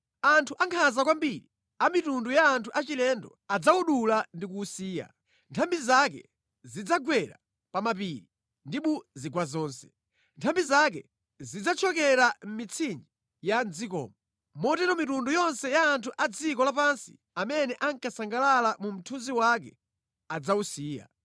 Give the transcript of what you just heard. Anthu ankhanza kwambiri amitundu ya anthu achilendo adzawudula ndi kuwusiya. Nthambi zake zidzagwera pa mapiri ndi mu zigwa zonse. Nthambi zake zidzathyokera mʼmitsinje ya mʼdzikomo. Motero mitundu yonse ya anthu a dziko lapansi amene ankasangalala mu mthunzi wake idzawusiya.